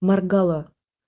моргала